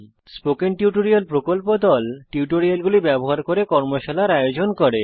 spoken tutorial প্রকল্প দল কথ্য টিউটোরিয়াল গুলি ব্যবহার করে কর্মশালার আয়োজন করে